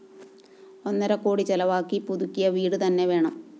ഒന്നരക്കോടി ചെലവാക്കി പുതുക്കിയ വീട് തന്നെ വേണം